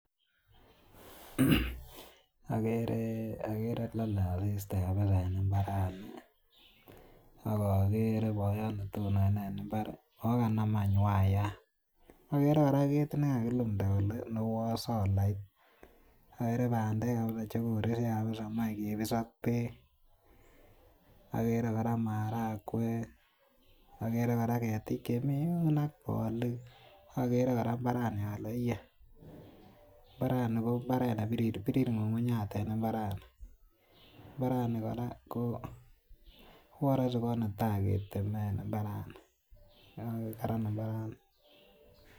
Agere lale asista kabisa eng imbarsnoton akagere boyotab netonone eng imbar, ako kanamany wayat, agere koraa kit nekakilda kole uan solait, agere bandek kabisa chekoresyo mache kibis ak bek, agere koraa marakwek, agere koraa ketik chemi